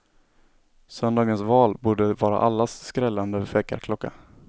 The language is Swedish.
Söndagens val borde vara allas skrällande väckarklocka.